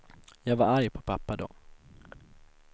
Jag var arg på pappa då.